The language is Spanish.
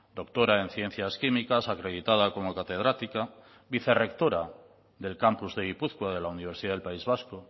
doctora en ciencias químicas acreditada como catedrática vicerrectora del campus de gipuzkoa de la universidad del país vasco